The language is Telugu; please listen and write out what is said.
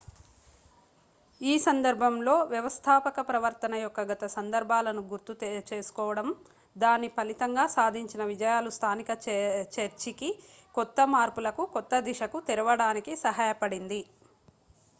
ఈ సందర్భంలో వ్యవస్థాపక ప్రవర్తన యొక్క గత సందర్భాలను గుర్తు చేసుకోవడం దాని ఫలితంగా సాధించిన విజయాలు స్థానిక చర్చికి కొత్త మార్పులకు కొత్త దిశకు తెరవడానికి సహాయపడింది